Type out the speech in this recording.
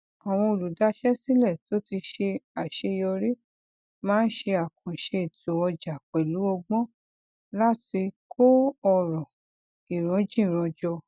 àwọn olùdáṣẹ sílẹ tó ti ṣe aṣeyọrí máa ń ṣe àkànṣe ètò ọjà pẹlú ọgbọn láti kó ọrọ ìranjìran jọ